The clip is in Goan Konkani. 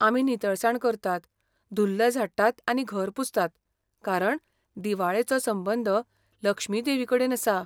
आमी नितळसाण करतात, धूल्ल झाडटात आनी घर पुसतात कारण दिवाळेचो संबंद लक्ष्मी देवीकडेन आसा.